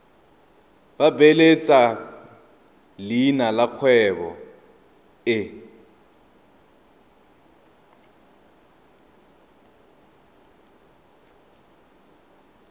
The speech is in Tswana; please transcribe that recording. beeletsa leina la kgwebo e